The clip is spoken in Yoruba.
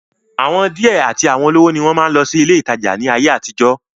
àwọn díẹ̀ àti àwọn olówó ni wọ́n máa ń lọ sí ilé ìtajà ní ayé àtijọ́